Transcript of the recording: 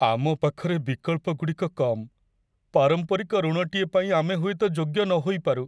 ଆମ ପାଖରେ ବିକଳ୍ପଗୁଡ଼ିକ କମ୍! ପାରମ୍ପରିକ ଋଣଟିଏ ପାଇଁ ଆମେ ହୁଏତ ଯୋଗ୍ୟ ନ ହୋଇପାରୁ।